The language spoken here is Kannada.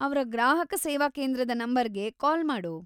ಅವ್ರ ಗ್ರಾಹಕ ಸೇವಾಕೇಂದ್ರದ ನಂಬರ್‌ಗೆ ಕಾಲ್‌ ಮಾಡು.